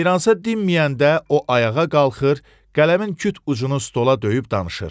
Meyransa dinməyəndə o ayağa qalxır, qələmin küt ucunu stola döyüb danışır.